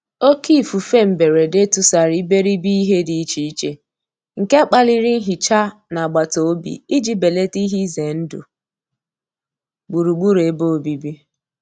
Òkè ífúfé mbérédé túsàrá íbéríbé íhé dí íché íché, nké kpálirí nhíchá ná àgbátá òbí íjí bélátá íhé ízé ndụ́ gbúrú-gbúrú ébé òbíbí.